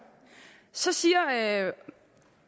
så siger